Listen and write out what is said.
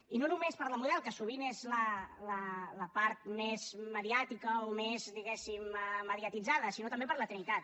i no només per la model que sovint és la part més mediàtica o més diguéssim mediatitzada sinó també per la trinitat